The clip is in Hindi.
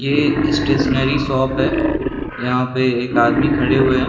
ये स्टेशनरी शॉप है यहाँ पे एक आदमी खड़े हुए है।